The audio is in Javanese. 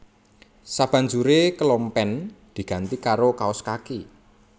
Sabanjuré kelompen diganti karo kaos kaki